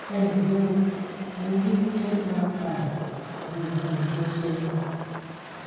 ẹ ǹlẹ o mo ní mri ní ogún ọjọ sẹyìn